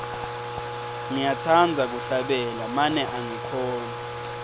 ngiyatsandza kuhlabela mane angikhoni